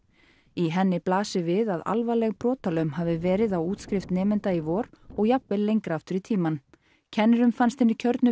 í henni blasi við að alvarleg brotalöm hafi verið á útskrift nemenda í vor og jafnvel lengra aftur í tímann kennurum fannst hinir kjörnu